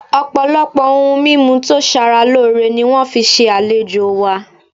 Ọpọlọpọ oun mimu to sara loore ni wọn fi ṣe alejo wa